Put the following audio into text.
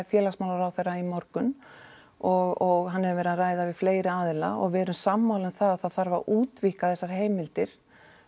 félagsmálaráðherra í morgun og hann hefur verið að ræða við fleiri aðila og við erum sammála um það að það þarf að útvíkka þessar heimildir